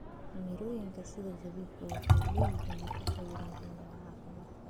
Mirooyinka sida zabibu waxay leeyihiin nafaqooyin muhiim ah caafimaadka.